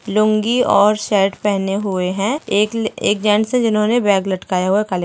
लुंगी और शर्ट पहने हुए है एक ले एक जेन्ट्स है जिन्होंने बैग लटकाया हुआ काले --